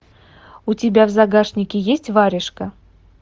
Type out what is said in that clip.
у тебя в загашнике есть варежка